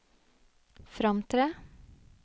fremtre